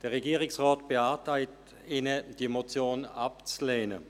Der Regierungsrat beantragt Ihnen, diese Motion abzulehnen.